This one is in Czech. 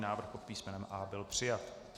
Návrh pod písmenem A byl přijat.